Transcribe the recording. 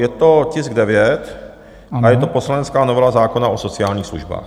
Je to tisk 9 a je to poslanecká novela zákona o sociálních službách.